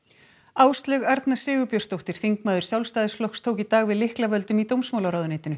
Áslaug Arna Sigurbjörnsdóttir þingmaður Sjálfstæðisflokks tók í dag við lyklavöldum í dómsmálaráðuneytinu